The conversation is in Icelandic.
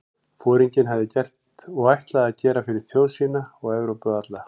Foringinn hafði gert og ætlaði að gera fyrir þjóð sína og Evrópu alla?